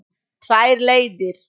Tvær leiðir.